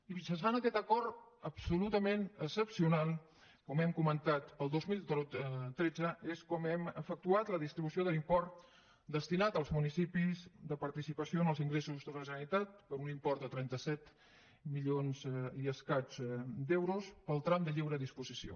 i mitjançant aquest acord absolutament excepcional com hem comentat el dos mil tretze és com hem efectuat la distribució de l’import destinat als municipis de participació en els ingressos de la generalitat per un import de trenta set milions i escaig d’euros per al tram de lliure disposició